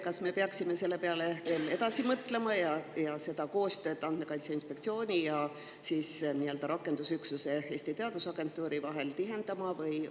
Kas me peaksime selle peale edasi mõtlema ning koostööd Andmekaitse Inspektsiooni ja rakendusüksuse, Eesti Teadusagentuuri vahel tihendama?